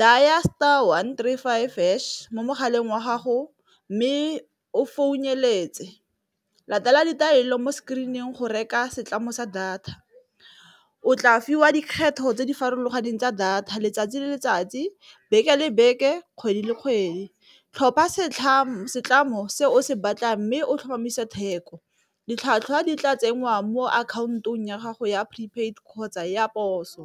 dail star one three five hash mo mogaleng wa gago, mme o latela ditaelo mo screen-ing go reka setlamong sa data, o tla fiwa dikgetho tse di farologaneng tsa data letsatsi le letsatsi beke le beke kgwedi le kgwedi. Tlhopha setlhamo se o se batla mme o tlhomamisa theko ditlhwatlhwa di tla tsengwang mo akhaontong ya gago ya prepaid kgotsa ya poso.